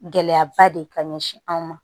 Gɛlɛyaba de ka ɲɛsin anw ma